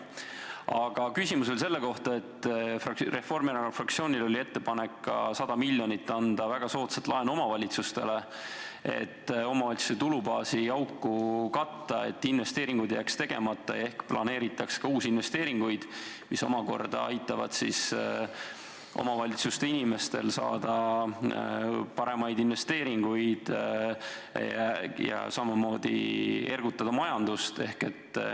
Aga küsimus oli selle kohta, et Reformierakonna fraktsioonil oli ettepanek anda omavalitsustele 100 miljonit väga soodsat laenu, et omavalitsuste tulubaasi auku katta, et investeeringud ei jääks tegemata ja ehk ka planeeritaks uusi investeeringuid, mis omakorda aitavad omavalitsuste inimestel saada paremaid investeeringuid ja samamoodi ergutada majandust.